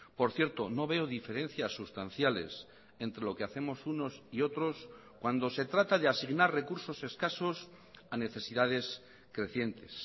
por cierto no veo diferencias sustanciales entre lo que hacemos unos y otros cuando se trata de asignar recursos escasos a necesidades crecientes